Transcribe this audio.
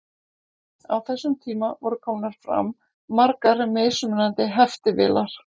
Á þessum tíma voru komnar fram margar mismunandi heftivélar.